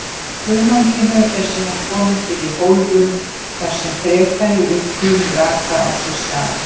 Hunanginu eru síðan komið fyrir í hólfum þar sem frekari uppgufun raka á sér stað.